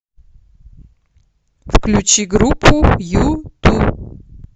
включи группу юту